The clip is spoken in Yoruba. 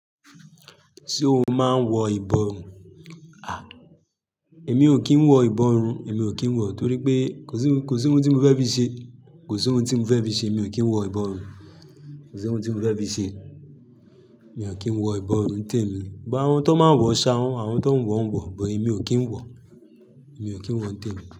Ṣé o máa ń wọ ìbọrun? Èmi ò kí ń wọ ìbọrun, èmi ò kí ń wọ torí pé kò sí ohun, kò sí ohun tí mo fẹ́ fí ṣe. Kò sí ohun tí mo fẹ́ bí i ṣe. Èmi ò kí ń wọ ìbọrun. Kò sí ohun tí mo fẹ́ bí i ṣe. Mi ò kí ń wọ ìbọrun tèmi. But àwọn tó máa ń wọ, ṣa wọ́n. Àwọn tó ń wọ, wọ̀ bọ̀, èmi ò kí ń wọ. Èmi ò kí ń wọ tèmi.